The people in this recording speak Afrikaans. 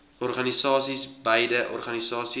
organisasies beide organisasies